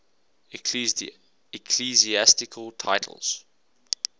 ecclesiastical titles